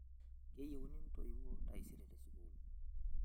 keyieuni intooiwuo taisere tesukuul